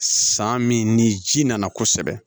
San min ni ji nana kosɛbɛ